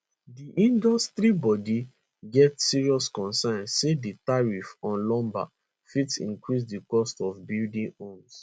di industry body get serious concerns say di tariffs on lumber fit increase di cost of building homes